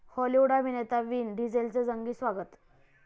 Hollywood अभिनेता Vin डिझेलचं जंगी स्वागत